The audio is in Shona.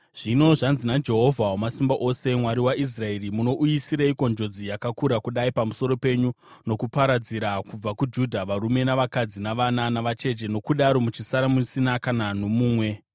“Zvino, zvanzi naJehovha, Wamasimba Ose, Mwari waIsraeri: Munouyisireiko njodzi yakakura kudai pamusoro penyu nokuparadzira kubva kuJudha varume navakadzi, navana, navacheche nokudaro muchisara musina kana nomumwe?